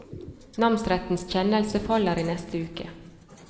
Namsrettens kjennelse faller i neste uke.